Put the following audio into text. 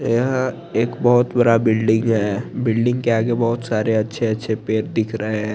यह एक बोहोत बड़ा बिल्डिंग है बिल्डिंग के आगे बोहोत सारे अच्छे अछे पेड़ दिख रहे है ।